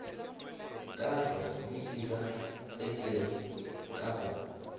katwa di diragetšego ka go